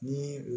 Ni